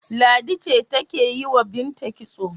Ladi ce take yi wa Binta kitso.